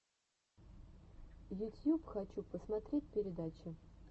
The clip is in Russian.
ютьюб хочу посмотреть передачи